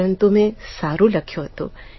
પરંતુ મેં સારૂં લખ્યું હતું